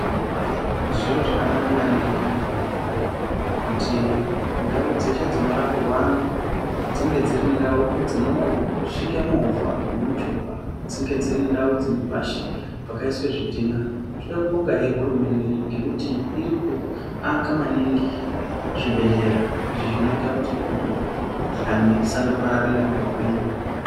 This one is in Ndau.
Zviro zvakanaka maningi, kuti ndau dzeshe dzinorapirwa antu, dzinge dziri ndau dzinosvike movha nemichovha. Dzinge dziri ndau dzine pashi pakaiswa zvidhina. Toda kubongahe hurumende ngekuti irikuaka maningi zvibhehlera. Izvi zvinoita kuti mikhuhlani isandopararira nguwa ngenguwa.